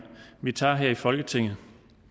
vi tager her i folketinget